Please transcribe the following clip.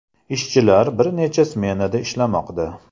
Ishchilar bir necha smenada ishlamoqda.